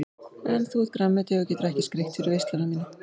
En þú ert grænmeti og getur ekki skreytt fyrir veisluna MÍNA.